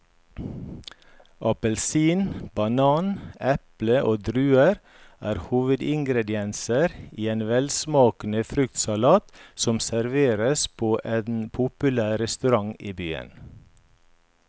Appelsin, banan, eple og druer er hovedingredienser i en velsmakende fruktsalat som serveres på en populær restaurant i byen.